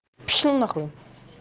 пошёл нахуй